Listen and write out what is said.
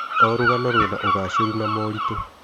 O rũgano rwĩna ũgacĩĩru na moritũ.